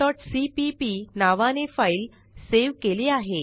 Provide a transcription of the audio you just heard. relationalसीपीपी नावाने file save केली आहे